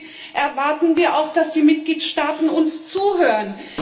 Deswegen erwarten wir auch, dass die Mitgliedstaaten uns zuhören.